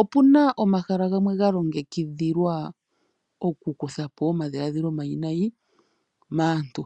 Opu na omahala gamwe ga longekidhilwa oku kutha po omadhiladhilo omayinayi maantu.